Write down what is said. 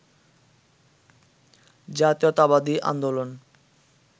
জাতীয়তাবাদী আন্দোলন